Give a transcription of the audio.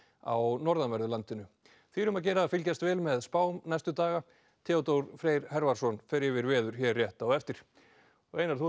á norðanverðu landinu því er um að gera að fylgjast vel með spám næstu daga Theodór Freyr fer yfir veður hér rétt á eftir og Einar þú ert